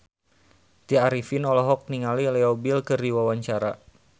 Tya Arifin olohok ningali Leo Bill keur diwawancara